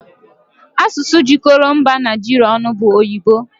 Asụsụ jikọrọ mba Naijiria ọnụ bụ oyibo